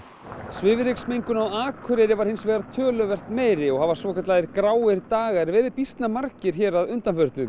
svifryksmengun á Akureyri var hins vegar töluvert meiri og hafa svokallaðir gráir dagar verið býsna margir að undanförnu